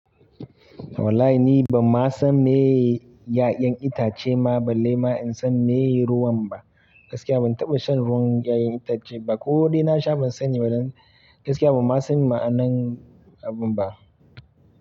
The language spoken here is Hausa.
Wallahi ni ban ma san meye ya'yan itace ma balle ma in san meye ruwan ba. Gaskiya ban taɓa shan ruwan ya'yan itace ba ko dai na sha ban sani ba don gaskiya ban ma san ma'anan abun ba.